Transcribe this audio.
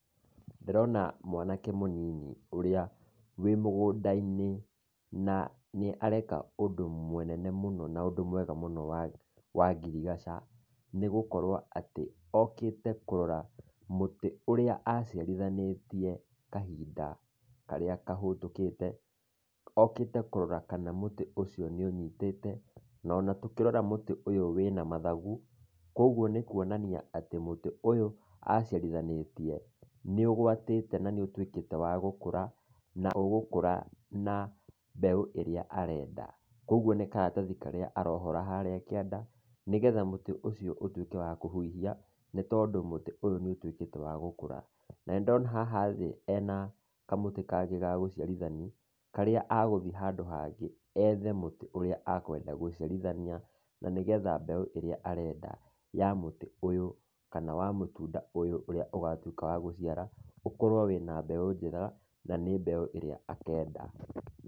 Ndĩrona mwanake mũnini ũrĩa wĩ mũgũnda inĩ na nĩareka ũndũ mũnene mũno na ũndũ mwega mũno wa wangirigaca nĩgũkorwo atĩ akĩte kũrora mũtĩ ũrĩa ciarĩthanitie kahinda karĩa kahetũkite okite kũrora kana mũtĩ ũcio nĩ ũnyitĩte ona tũkĩrora mũtĩ ũyũ nĩtũrona atĩ wĩna mathagũ kũogũo nĩ kũonania atĩ mũti ũyũ aciarithanĩtie nĩ ũgwatĩte na nĩ ũtwĩkĩte wa gũkũra na ũgũkũra na mbeũ ĩrĩa arenda kũgũo nĩ karatathĩ karĩa arohora harĩa kĩanda nĩgetha mũtĩ ũcio ũtũĩke wa kũhũhĩa nĩ tondũ mũtĩ ũyũ nĩ ũtwĩkĩte wa gũkũra na nĩ ndĩna haha thĩ hena kmsũtĩ kangĩ ga gũcĩarihania karĩa agũthiĩ handũ hangĩ e mũtĩ ũrĩa akwenda gũciarithania na nĩgetha mbeũ ĩrĩa arenda ya mũtĩ ũyũ kana ya mũtũnda ũyũ ũrĩa ũgatwĩka wa gũciara ũkorwo wĩna mbeũ njega na nĩ mbeũ ĩrĩa akenda .